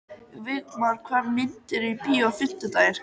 Vígmar, hvaða myndir eru í bíó á fimmtudaginn?